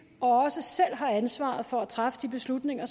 og også selv har ansvaret for at træffe de beslutninger